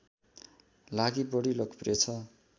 लागि बढी लोकप्रिय छ